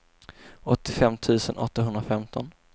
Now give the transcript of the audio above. åttiofem tusen åttahundrafemton